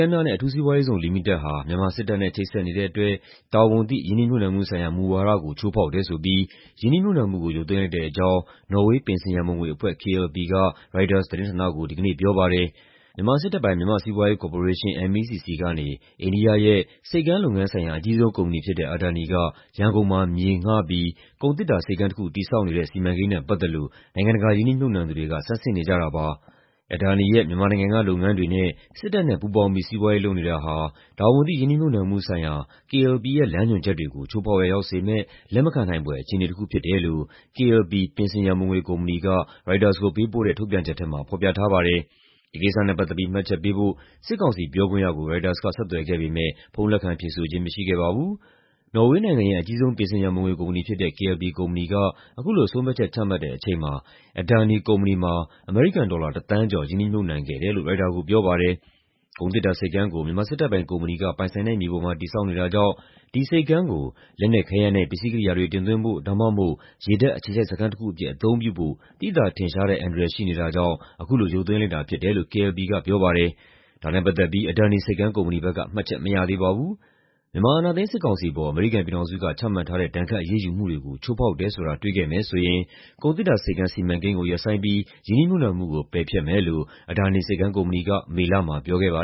မ်းများနဲ့ အထူးစီးပွားရေးဇုံလီမိတက်ဟာ မြန်မာစစ်တပ်နဲ့ ချိတ်ဆက်နေတဲ့အတွက် တာဝန်သိ ရင်းနှီးမြှုပ်နှံမှုဆိုင်ရာမူဝါဒကို ချိုးဖောက်တယ်ဆိုပြီး ရင်းနှီးမြှုပ်နှံမှုကို ရုပ်သိမ်းလိုက်တဲ့အကြောင်း နော်ဝေး ပင်စင်ရန်ပုံငွေအဖွဲ့ KLP က ရိုက်တာသတင်းဌာနကို ဒီကနေ့ပြောပါတယ်။ မြန်မာစစ်တပ်ပိုင် မြန်မာ့စီးပွားရေးကော်ပိုရေး (MEC) ဆီကနေ အိန္ဒိယရဲ့ ဆိပ်ကမ်းလုပ်ငန်းဆိုင်ရာ အကြီးဆုံးကုမ္ပဏီဖြစ်တဲ့ Adani က ရန်ကုန်မှာ မြေငှားပြီး ကုန်သေတ္တာဆိပ်ကမ်းတခု တည်ဆောက်နေတဲ့ စီမံကိန်းနဲ့ပတ်သက်လို့ နိုင်ငံတကာရင်းနှီးမြှုပ်နှံသူတွေက ဆန်းစစ်နေကြတာပါ။ "Adani ရဲ့ မြန်မာနိုင်ငံက လုပ်ငန်းတွေနဲ့ စစ်တပ်နဲ့ပူးပေါင်းပြီး စီးပွားရေးလုပ်နေတာဟာ တာဝန်သိ ရင်းနှီးမြှုပ်နှံမှုဆိုင်ရာ KLP ရဲ့ လမ်းညွှန်ချက်တွေကို ချိုးဖောက်ရာရောက်စေမယ့် လက်မခံနိုင်ဖွယ် အခြေအနေတခုဖြစ်တယ်" လို့ KLP ပင်စင်ရန်ပုံငွေကုမ္ပဏီက ရိုက်တာကိုပေးပို့တဲ့ ထုတ်ပြန်ချက်ထဲမှာ ဖော်ပြထားပါတယ်။ ဒီကိစ္စနဲ့ပတ်သက်ပြီး မှတ်ချက်ပေးဖို့ စစ်ကောင်စီပြောခွင့်ရကို ရိုက်တာက ဆက်သွယ်ခဲ့ပေမယ့် ဖုန်းလက်ခံဖြေဆိုခြင်းမရှိခဲ့ပါဘူး။ နော်ဝေးနိုင်ငံရဲ့ အကြီးဆုံး ပင်စင်ရန်ပုံငွေကုမ္ပဏီဖြစ်တဲ့ KLP ကုမ္ပဏီက အခုလိုဆုံးဖြတ်ချက် ချမှတ်တဲ့အချိန်မှာ Adani ကုမ္ပဏီမှာ အမေရိကန်ဒေါ်လာ ၁ သန်းကျော် ရင်းနှီးမြှုပ်နှံခဲ့တယ်လို့ ရိုက်တာကိုပြောပါတယ်။ ကုန်သေတ္တာဆိပ်ကမ်းကို မြန်မာစစ်တပ်ပိုင်ကုမ္ပဏီက ပိုင်ဆိုင်တဲ့မြေပေါ်မှာ တည်ဆောက်နေတာကြောင့် ဒီဆိပ်ကမ်းကို လက်နက်ခဲယမ်းနဲ့ ပစ္စည်းကိရိယာတွေ တင်သွင်းဖို့ ဒါမှမဟုတ် ရေတပ်အခြေစိုက်စခန်းတခုအဖြစ် အသုံးပြုဖို့ သိသာထင်ရှားတဲ့အန္တရာယ် ရှိနေတာကြောင့် အခုလို ရုပ်သိမ်းလိုက်တာဖြစ်တယ်လို့ KLP ကပြောပါတယ်။ ဒါနဲ့ပတ်သက်ပြီး Adani ဆိပ်ကမ်းကုမ္ပဏီဘက်က မှတ်ချက်မရသေးပါဘူး။ မြန်မာအာဏာသိမ်း စစ်ကောင်စီအပေါ် အမေရိကန်ပြည်ထောင်စုက ချမှတ်ထားတဲ့ ဒဏ်ခတ်အရေးယူမှုတွေကို ချိုးဖောက်တယ်ဆိုတာ တွေ့ခဲ့မယ်ဆိုရင် ကုန်သေတ္တာဆိပ်ကမ်း စီမံကိန်းကို ရပ်ဆိုင်းပြီး ရင်းနှီးမြှုပ်နှံမှုကို ပယ်ဖျက်မယ်လို့ Adani ဆိပ်ကမ်းကုမ္ပဏီက မေလမှာပြောခဲ့ပါ